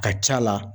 Ka c'a la